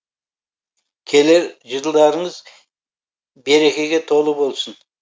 келер жылдарыңыз берекеге толы болсын